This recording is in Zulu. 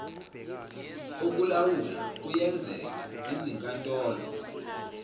okulawula kuyenzeka izinkantolo